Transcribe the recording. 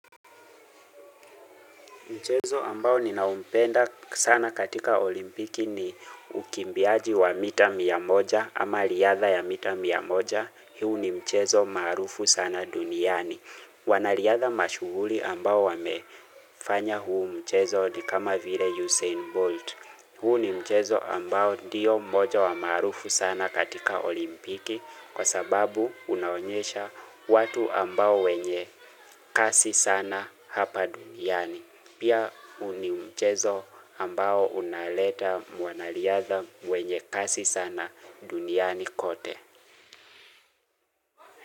Mchezo ambao ninaumpenda sana katika olimpiki ni ukimbiaji wa mita mia moja ama liyadha ya mita mia moja. Hiu ni mchezo maarufu sana duniani. Wanaliadha mashuhuli ambao wamefanya huu mchezo ni kama vile Usain Bolt. Huu ni mchezo ambao diyo moja wa marufu sana katika olimpiki kwa sababu unaonyesha watu ambao wenye kasi sana hapa duniani. Pia huu nimchezo ambao unaleta mwanaliadha mwenye kasi sana duniani kote.